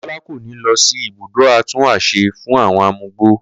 Kó̩la kò ni lo̩ sí ibùdó atúnwàs̩e fún àwo̩n amugbó